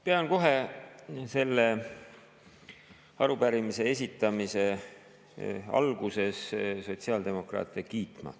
Pean kohe selle arupärimise esitamise alguses kiitma sotsiaaldemokraate.